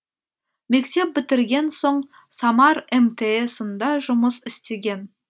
мектеп бітірген соң самар мтс ында жұмыс істеген